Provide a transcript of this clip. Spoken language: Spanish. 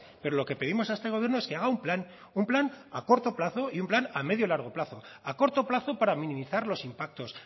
pero lo que pedimos a este gobierno es que haga un plan un plan a corto plazo y un plan a medio o largo plazo a corto plazo para minimizar los impactos